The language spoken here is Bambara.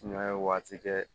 Sumaya ye waati kɛ